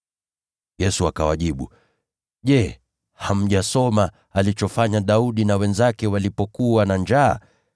Yesu akawajibu, “Je, hamjasoma alichofanya Daudi na wenzake walipokuwa na njaa?